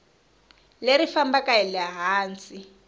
leri fambaka hi le hansi